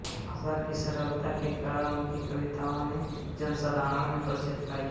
भाषा की सरलता के कारण उनकी कविताओं ने जनसाधारण में प्रसिद्ध पाई है